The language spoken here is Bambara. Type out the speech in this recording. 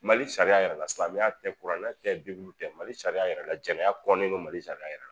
Mali sariya yɛrɛ la silamɛya tɛ kuranna tɛ bibulu tɛ, Mali sariya yɛrɛ la jɛnɛya kɔnnen don Mali sariya yɛrɛ la.